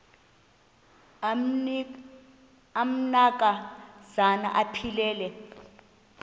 amanka zana aphilele